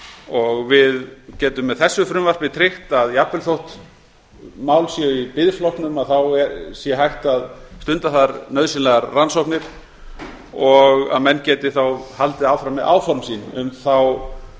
og við getum með þessu frumvarpi tryggt að jafnvel þó þessi mál séu í biðflokknum þá sé hægt að stunda þar nauðsynlegar rannsóknir og menn geti þá haldið áfram með áform sín um þá